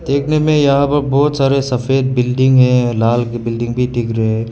देखने में यहां पर बहुत सारे सफेद बिल्डिंग है लाल बिल्डिंग भी दिख रहा है।